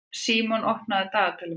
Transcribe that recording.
Símon, opnaðu dagatalið mitt.